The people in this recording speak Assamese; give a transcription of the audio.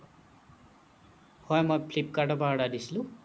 হ'য় মই flipkart ৰ পৰা order দিছিলো